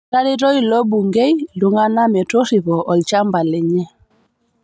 Etareto ilo bungei ltung'ana metorripo olchamba lenye